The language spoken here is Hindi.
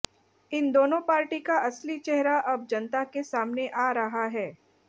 इन दोनों पार्टी का असली चेहरा अब जनता के सामने आ रहा है